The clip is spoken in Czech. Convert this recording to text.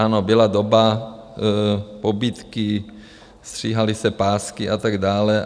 Ano, byla doba pobídky, stříhaly se pásky a tak dále.